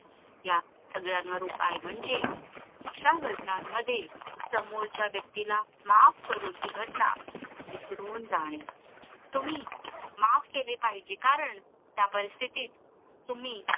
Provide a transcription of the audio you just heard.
ह्या सगळ्यावर उपाय म्हणजे अशा घटनांमध्ये समोरचा व्यक्तीला माफ करून ती घटना विसरून जाणे तुम्ही माफ केले पाहिजे कारण त्या परिस्तितीत तुम्ही